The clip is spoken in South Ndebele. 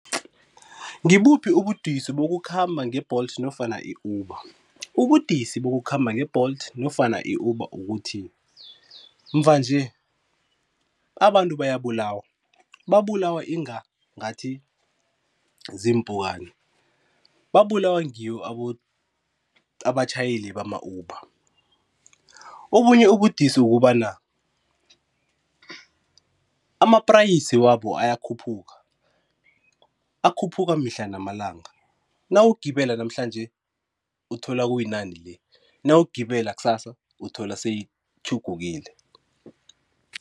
Ngibuphi ubudisi bokukhamba nge-Bolt nofana i-Uber? Ubudisi bokukhamba nge-Bolt nofana i-Uber ukuthi mva nje abantu bayabulabawa, babulawa inga ngathi ziimpukani, babulawa ngiwo abatjhayeli bama-Uber. Obunye ubudisi ukobana ama-price wabo ayakhuphuka, akhuphuka mihla namalanga nawugibela namhlanje uthola kuyi nani le, nawugibela kusasa uthola seyitjhugukile.